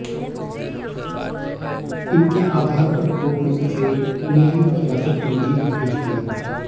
इनके आधार पर कोर्ट ने उसे न्यायिक हिरासत में जेल भेजा दिया